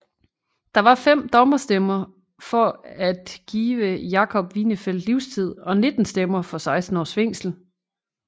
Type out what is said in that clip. Der var fem dommerstemmer for at at give Jakob Winefeld livstid og 19 stemmer for 16 års fængsel